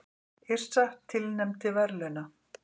Yrsa tilnefnd til verðlauna